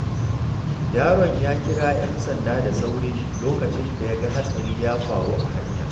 Yaron ya kira ‘yan sanda da sauri lokacin da ya ga hatsari ya faru a hanya.